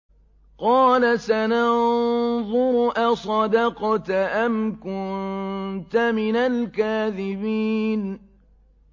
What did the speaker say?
۞ قَالَ سَنَنظُرُ أَصَدَقْتَ أَمْ كُنتَ مِنَ الْكَاذِبِينَ